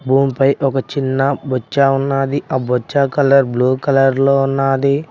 భూమిపై ఒక చిన్న బొచ్చా ఉన్నది ఆ బొచ్చా కలర్ బ్లూ కలర్ లో ఉన్నది.